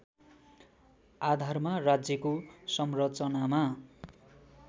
आधारमा राज्यको संरचनामा